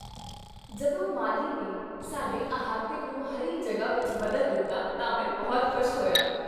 ਜਦੋਂ ਮਾਲੀ ਨੇ ਸਾਡੇ ਅਹਾਤੇ ਨੂੰ ਹਰੀ ਜਗ੍ਹਾ ਵਿੱਚ ਬਦਲ ਦਿੱਤਾ ਤਾਂ ਮੈਂ ਬਹੁਤ ਖੁਸ਼ ਹੋਇਆ।